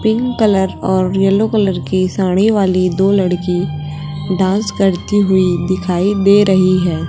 Pink colour और yellow colour की साड़ी वाली दो लड़की डांस करती हुई दिखाई दे रही है।